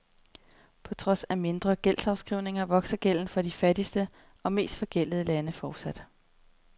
På trods af mindre gældsafskrivninger vokser gælden for de fattigste og mest forgældede lande fortsat.